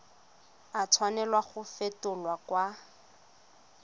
a tshwanela go fetolwa kwa